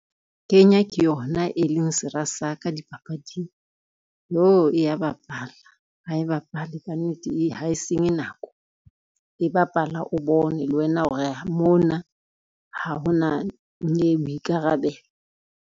Kenya ke yona e leng sera sa ka dipapading. Yoh e ya bapala, ha e bapale ka nnete, ha e senye nako e bapala o bone le wena hore mona ha ona nnyei boikarabelo.